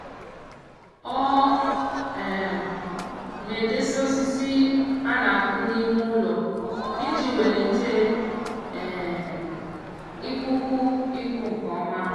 ọ um na-edesa osisi a na-akụ n'ime ụlọ iji welite um ikuku iku nke ọma.